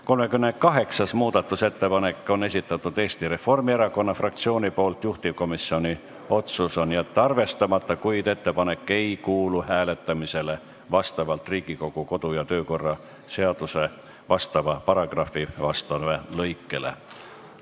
38. muudatusettepaneku on esitanud Eesti Reformierakonna fraktsioon, juhtivkomisjoni otsus on jätta arvestamata, kuid ettepanek ei kuulu hääletamisele vastavalt Riigikogu kodu- ja töökorra seaduse vastava paragrahvi vastavale lõikele.